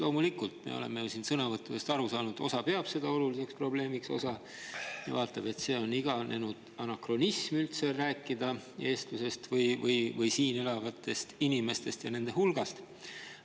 Loomulikult, me oleme siin sõnavõttude põhjal aru saanud, et osa peab seda probleemi oluliseks, aga osa, et see on iganenud anakronism – rääkida eestlusest või siin elavatest inimestest ja nende hulgast.